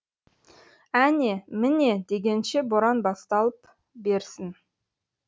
әне міне дегенше боран басталып берсін